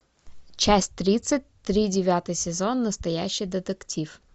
часть тридцать три девятый сезон настоящий детектив